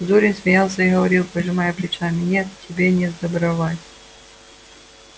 зурин смеялся и говорил пожимая плечами нет тебе не сдобровать